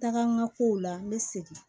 Taga kow la n bɛ segin